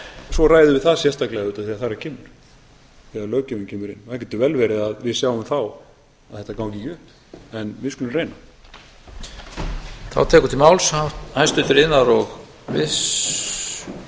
svo ræðum við það sérstaklega auðvitað þegar þar að kemur þegar löggjöfin kemur inn það getur vel verið að við sjáum þá að þetta gangi ekki upp en við skulum reyna